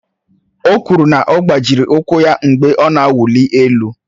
O kwuru na ọ gbajịrị ụkwụ ya mgbe ọ na-awụli elu